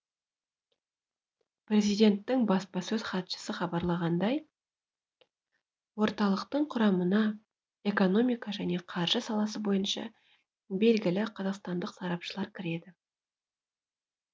президенттің баспасөз хатшысы хабарлағандай орталықтың құрамына экономика және қаржы саласы бойынша белгілі қазақстандық сарапшылар кіреді